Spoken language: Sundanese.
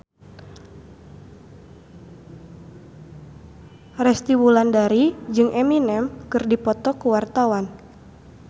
Resty Wulandari jeung Eminem keur dipoto ku wartawan